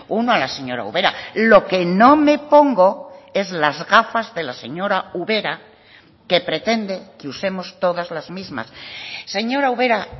uno a la señora ubera lo que no me pongo es las gafas de la señora ubera que pretende que usemos todas las mismas señora ubera